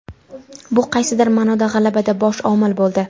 Bu qaysidir ma’noda g‘alabada bosh omil bo‘ldi.